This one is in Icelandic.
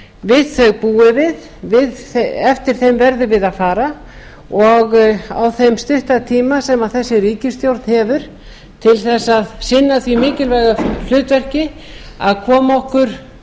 við þau búum við eftir þeim verðum við að fara og á þeim stutta tíma sem þessi ríkisstjórn hefur til þess að sinna því mikilvæga hlutverki að koma okkur